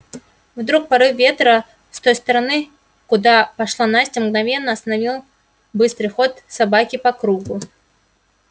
вдруг порыв ветра с той стороны куда пошла настя мгновенно остановил быстрый ход собаки по кругу